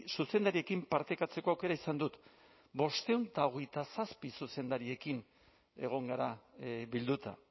zuzendariekin partekatzeko aukera izan dut bostehun eta hogeita zazpi zuzendariekin egon gara bilduta